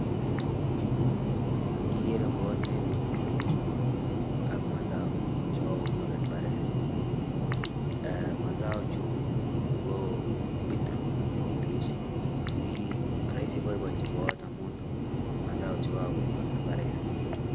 Kikere boiyot en yu ak mazao che kakonyor en imbaret um mazao chu ko beatroot en english, so ki rahisi boiboinchin boiyot amu mazao che kakonyor en imbaret.